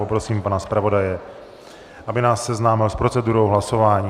Poprosím pana zpravodaje, aby nás seznámil s procedurou hlasování.